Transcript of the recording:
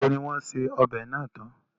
Ìgbà wo ni wọ́n ṣe ọbẹ̀ náà tán?